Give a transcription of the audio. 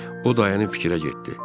O dayanıb fikrə getdi.